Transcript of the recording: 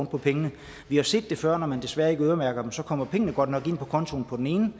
på pengene vi har set det før at når man desværre ikke øremærker dem så kommer pengene godt nok ind på kontoen på den ene